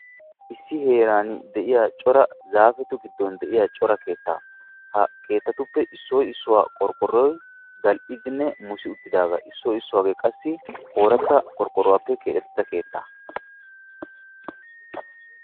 Issi heeran de'iya zaafettun de'iya cora keettaa. Ha keettattun issoy qorqqoruwappe keexettin qassi haray harabappe keexettiis.